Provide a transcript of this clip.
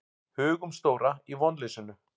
Hugumstóra í vonleysinu.